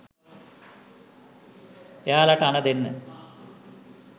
එයාලට අණ දෙන්න